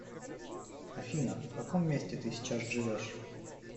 афина в каком месте ты сейчас живешь